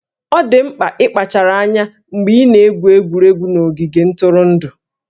Ọ dị mkpa ịkpachara anya mgbe ị na-egwu egwuregwu n'ogige ntụrụndụ